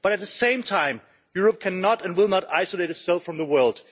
But at the same time Europe cannot and will not isolate itself from the world.